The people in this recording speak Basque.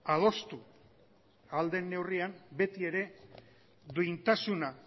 adostu ahal den neurrian beti ere duintasuna